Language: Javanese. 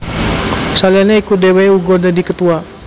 Saliyane iku dheweke uga dadi Ketua